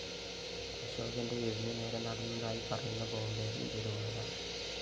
അശോകന്റെ വീടിനു നേരെ നടന്നതായി പറയുന്ന ബോംബേറില്‍ ദുരൂഹത